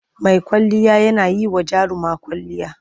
Mai kwalliya yana yi wa jaruma kwwalliya.